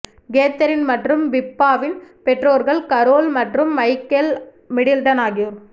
Catherine மற்றும் பிப்பாவின் பெற்றோர்கள் கரோல் மற்றும் மைக்கேல் மிடில்டன் ஆகியோர்